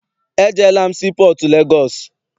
Ejeela m sii pọọtụ Legọọsị.